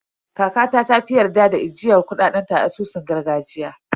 Kakata ta fi yarda da ajiyar kuɗaɗen ta a asusun gargajiya.